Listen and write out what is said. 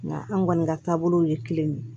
Nga an kɔni ka taabolow ye kelen de ye